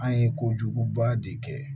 An ye kojuguba de kɛ